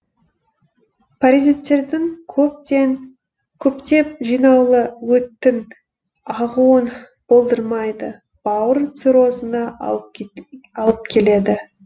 паразиттердің көптеп жиналуы өттің ағуын болдырмайды бауыр циррозына алып келеді